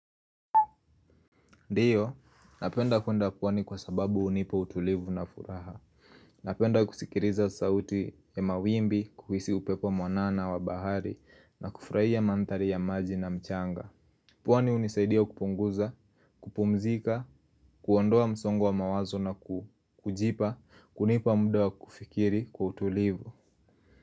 Ndiyo, napenda kwenda pwani kwa sababu hunipa utulivu na furaha. Napenda kusikiliza sauti ya mawimbi kuhisi upepo mwanana wa bahari na kufurahia mandhari ya maji na mchanga. Pwani hunisaidia kupunguza, kupumzika, kuondoa msongo wa mawazo na kujipa, kunipa muda wa kufikiri kwa utulivu.